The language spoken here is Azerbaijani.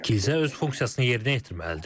Kilsə öz funksiyasını yerinə yetirməlidir.